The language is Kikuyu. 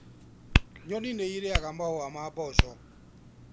Nyoni nĩ irĩaga mahũa ma mboco.